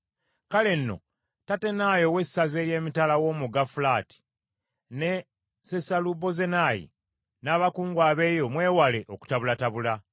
Kale nno, Tattenayi ow’essaza ery’emitala w’omugga Fulaati, ne Sesalubozenayi, n’abakungu abeeyo mwewale okutabulatabula.